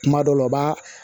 Kuma dɔw la u b'a